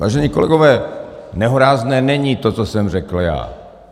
Vážení kolegové, nehorázné není to, co jsem řekl já.